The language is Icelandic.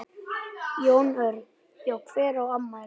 Jón Örn: Já hver á afmæli?